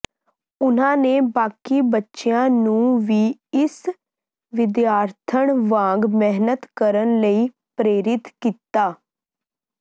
ਉਨ੍ਹਾਂ ਨੇ ਬਾਕੀ ਬੱਚਿਆਂ ਨੰੂ ਵੀ ਇਸ ਵਿਦਿਆਥਰਣ ਵਾਂਗ ਮਿਹਨਤ ਕਰਨ ਲਈ ਪ੍ਰਰੇਰਿਤ ਕੀਤਾ